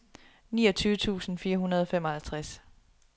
niogtyve tusind fire hundrede og femoghalvtreds